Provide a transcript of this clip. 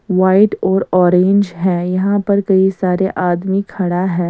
White और orange है यहां पर कई सारे आदमी खड़ा है।